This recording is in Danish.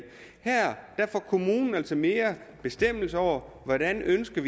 her får kommunen altså mere bestemmelse over hvordan den ønsker